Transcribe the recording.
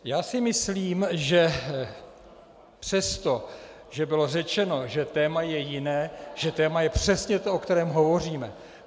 Já si myslím, že přesto, že bylo řečeno, že téma je jiné, tak téma je přesně to, o kterém hovoříme.